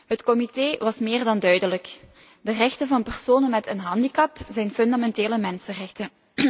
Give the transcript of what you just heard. Het comité was meer dan duidelijk de rechten van personen met een handicap zijn fundamentele mensenrechten.